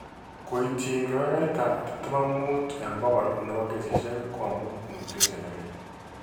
Koityin kepeperta 25% ne po kesisiek ko amu mutation nelel.